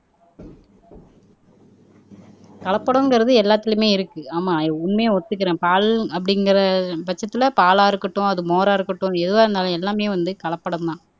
கலப்படங்கிறது எல்லாத்துலயுமே இருக்கு ஆமா உண்மையை ஒத்துக்குறேன் பால் அப்படிங்கற பட்சத்துல பாலா இருக்கட்டும் அது மோரா இருக்கட்டும் எதுவா இருந்தாலும் எல்லாமே வந்து கலப்படம்தான்